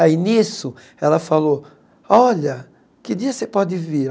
Aí, nisso, ela falou, olha, que dia você pode vir?